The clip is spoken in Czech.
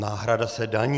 Náhrada se daní.